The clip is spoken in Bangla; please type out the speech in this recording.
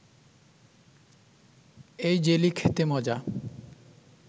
এই জেলি খেতে মজা